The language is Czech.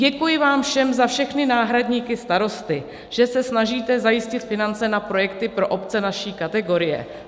"Děkuji vám všem za všechny náhradníky starosty, že se snažíte zajistit finance na projekty pro obce naší kategorie.